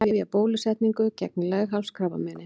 Hefja bólusetningu gegn leghálskrabbameini